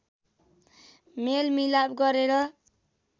मेलमिलाप गरेर